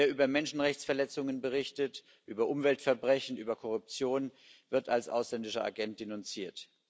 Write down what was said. Wer über Menschenrechtsverletzungen berichtet, über Umweltverbrechen, über Korruption, wird als ausländischer Agent denunziert.